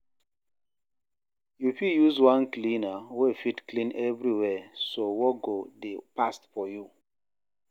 yu fit use one cleaner wey fit clean evriwia so work go dey fast for yu